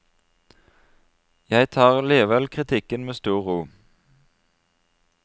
Jeg tar likevel kritikken med stor ro.